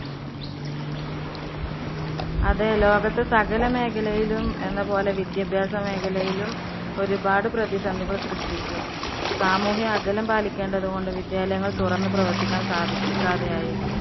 അതെ ലോകത്ത് സകല മേഖലയിലും എന്നപോലെ വിദ്യാഭ്യാസ മേഖലയിലും ഒരുപാട് പ്രതിസന്ധികള്‍ സൃഷ്ടിച്ചു. സാമൂഹ്യ അകലം പാലിക്കേണ്ടതുകൊണ്ട് വിദ്യാലയങ്ങള്‍ തുറന്നു പ്രവര്‍ത്തിക്കാന്‍ സാധിക്കാതെയായി.